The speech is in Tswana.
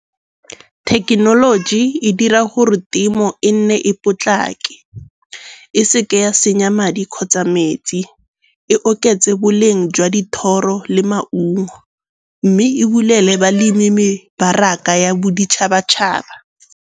Thekenoloji e dira gore temo e nne e potlake e seke ya senya madi kgotsa metsi, e oketse boleng jwa dithoro le maungo. Mme e bulele balemi mebaraka ya boditšhabatšhaba.